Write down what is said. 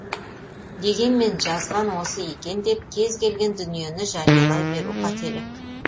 дегенмен жазған осы екен деп кез келген дүниені жариялай беру қателік